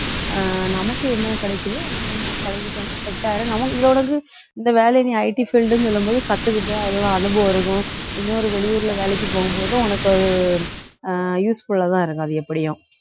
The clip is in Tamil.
அஹ் நமக்கு என்ன கிடைக்குதோ அதை நம்ம பழகிட்டோம்னா set ஆயிடும் நமக்கு இது உனக்கு இந்த வேலையை நீ IT field ன்னு சொல்லும் போது ஏதோ அனுபவம் இருக்கும் வெளியூர்ல வேலைக்கு போகும்போதும் உனக்கு ஒரு அஹ் useful ஆ தான் இருக்கும் அது எப்படியும்